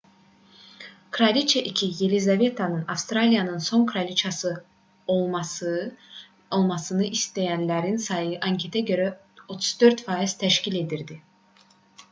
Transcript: kraliçə ii yelizavetanın avstraliyanın son kraliçası olmasını istəyənlərin sayı anketə görə 34 faiz təşkil edirdi